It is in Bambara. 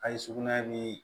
A' ye sugunɛ ni